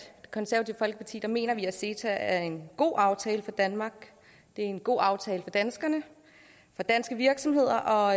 konservative folkeparti mener vi at ceta er en god aftale for danmark det er en god aftale for danskerne for danske virksomheder og